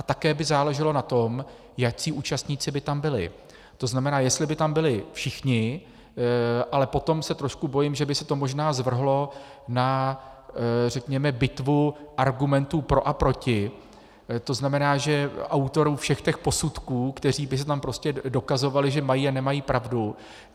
A také by záleželo na tom, jací účastníci by tam byli, to znamená, jestli by tam byli všichni, ale potom se trošku bojím, že by se to možná zvrhlo na řekněme bitvu argumentů pro a proti, to znamená, že autorů všech těch posudků, kteří by si tam prostě dokazovali, že mají a nemají pravdu.